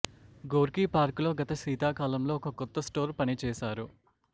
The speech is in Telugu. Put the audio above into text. గోర్కీ పార్క్ లో గత శీతాకాలంలో ఒక కొత్త స్టోర్ పనిచేశారు